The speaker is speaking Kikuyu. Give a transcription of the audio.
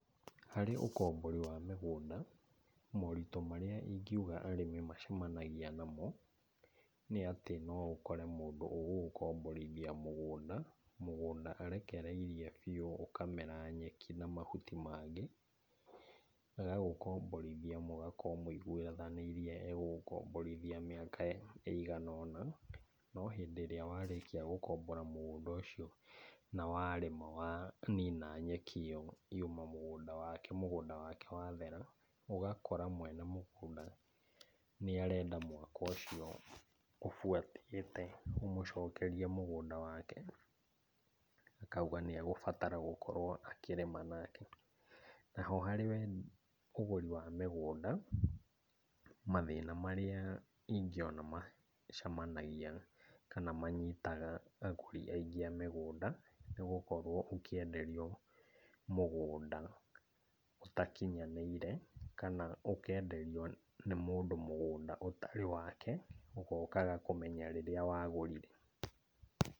Harĩ ũkombori wa mĩgũnda, moritũ marĩa ingĩuga arĩmi macemanagia namo, nĩ atĩ no ũkore mũndũ ũgũgũkomborithia mũgũnda, mũgũnda arekereirie biũ ũkamera nyeki na mahuti mangĩ. Agagũkomborithia mũgakorwo mũigũithanĩirie egũgũkomborithia mĩaka ĩigana ũna, no hĩndĩ ĩrĩa warĩkia gũkombora mũgũnda ũcio na warĩma wanina nyeki ĩyo yuma mũgũnda wake, mũgũnda wake wathera, ũgakora mwene mũgũnda nĩarenda mwaka ũcio ũbuatĩte ũmũcokerie mũgũnda wake. Akauga nĩegũbatara gũkorwo akĩrĩma nake. Na ho harĩ we mũgũri wa mĩgũnda, mathĩna marĩa ingĩona macemanagia kana manyitaga agũri aingĩ a mĩgũnda, nĩgũkorwo ũkĩenderio mũgũnda ũtakinyanĩire kana ũkenderio nĩ mũndũ mũgũnda ũtarĩ wake, ũgokaga kũmenya rĩrĩa wagũrire.